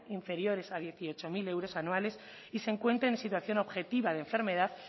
inferiores a dieciocho mil euros anuales y se encuentren en situación objetiva de enfermedad